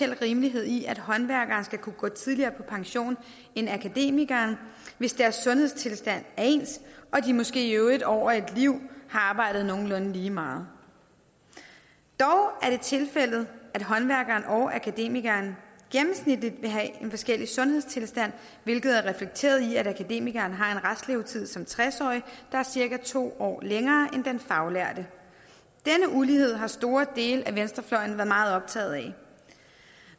rimelighed i at håndværkere skal kunne gå tidligere på pension end akademikere hvis deres sundhedstilstand er ens og de måske i øvrigt over et liv har arbejdet nogenlunde lige meget dog er det tilfældet at håndværkere og akademikere gennemsnitligt vil have en forskellig sundhedstilstand hvilket er reflekteret i at akademikeren har en restlevetid som tres årig der er cirka to år længere end den faglærte denne ulighed har store dele af venstrefløjen været meget optaget af